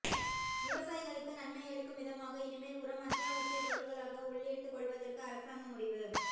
விவசாயிகளுக்கு நன்மையளிக்கும் விதமாக இனிமேல் உரம் அத்தியாவசியப் பொருளாக உள்ளீர்த்துக் கொள்வதற்கு அரசாங்கம் முடிவு